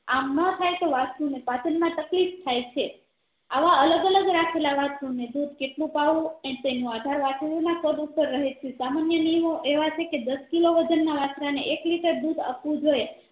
આમ ન થાય તો વાસ્ત્રુ ને પાચન માં તકલીફ છે આવા અલગ અલગ રાખેલા વાસ્ત્રુ ને દુધ કેટલું પાવું એ તેના આધાર ના કદ ઉપર રહે છે સામાન્ય નિયમો એવા છે કે દસ કિલો વજન ના વાસ્ત્રા ને એક liter દુધ આપવું જોઈએ